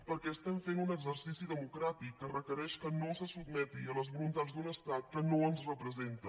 perquè fem un exercici democràtic que requereix que no se sotmeti a les voluntats d’un estat que no ens representa